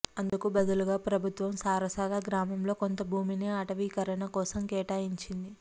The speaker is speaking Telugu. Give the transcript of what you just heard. అందుకు బదులుగా ప్రభుత్వం సారసాల గ్రామంలో కొంత భూమిని అటవీకరణ కోసం కేటాయించింది